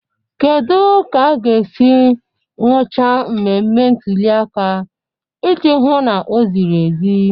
Kedu ka a ga-esi nụchaa mmemme ntuli aka iji hụ na o ziri ezi?